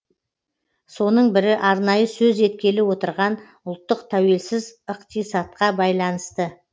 соның бірі арнайы сөз еткелі отырған ұлттық тәуелсіз ықтисатқа байланысты